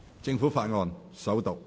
政府法案：首讀。